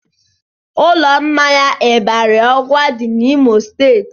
Ụlọ mmanya Ịbarị ọgwa dị n'Imo steeti